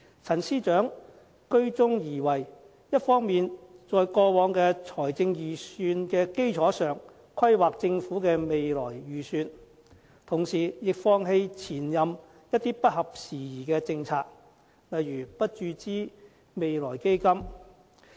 陳司長居中而為，一方面在過往財政預算的基礎上規劃政府的未來預算，同時亦放棄前任司長一些不合時宜的政策，例如不注資未來基金。